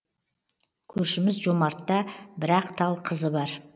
көршіміз жомартта бір ақ тал қызы бар